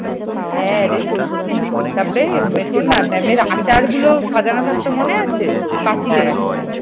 হ্যাঁ রে সত্যিই তারপরে শোন না, ম্যামের আচারগুলো সাজানো থাকতো মনে আছে তাকিয়ে।